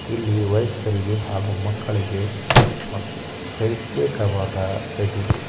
ಇಲ್ಲಿ ವಯಸ್ಕರಿಗೆ ಹಾಗೂ ಮಕ್ಕಳಿಗೆ ಪ್ರತ್ಯೇಕವಾದ ಸೈಕಲ್ ಗಳು ಇವೆ .